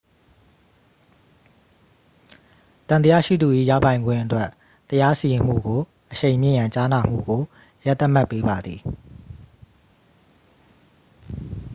သံသယရှိသူ၏ရပိုင်ခွင့်အတွက် တရားစီရင်မှုကိုအရှိန်မြှင့်ရန် ကြားနာမှုကို ရက်သတ်မှတ်ပေးပါသည်